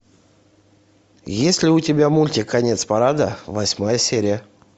есть ли у тебя мультик конец парада восьмая серия